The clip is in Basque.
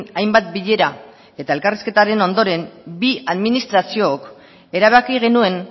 hainbat bilera eta elkarrizketaren ondoren bi administraziok erabaki genuen